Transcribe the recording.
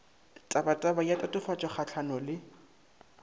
tabataba ya tatofatšo kgahlano le